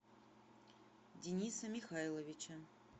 дениса михайловича